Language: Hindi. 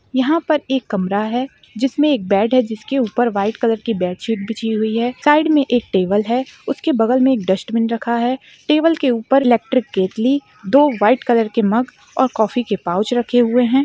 यहाँ पर एक कमरा हैं जिस मे एक बेड हैं जिस के उपर वाईट कलर कि बेडशीट बिछी हुई हैं साइड मे एक टेबल हैं उस के बगल मे एक डस्टबिन रखा हैं टेबल के उपर इलेक्ट्रिक केटलि दो वाईट कलर के मग और काफि के पाउच रखे हुए हैं।